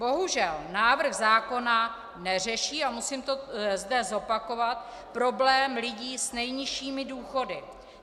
Bohužel návrh zákona neřeší - a musím to zde zopakovat - problém lidí s nejnižšími důchody.